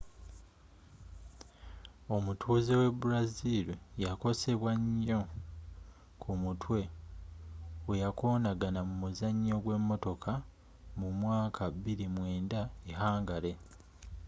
omutuzze we brazil yakosebwa nyo ku mutwe weyakonagana mu muzanyo gwe motoka mu mwaka 2009 e hungary